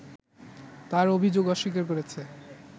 তার অভিযোগ অস্বীকার করেছে